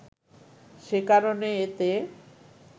সে কারণে এতে